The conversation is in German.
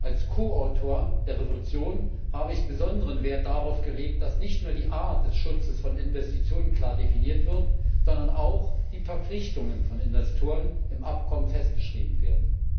Als Ko Autor der Entschließung habe ich besonderen Wert darauf gelegt, dass nicht nur die Art des Schutzes von Investitionen klar definiert wird, sondern auch die Verpflichtungen von Investoren im Abkommen festgeschrieben werden.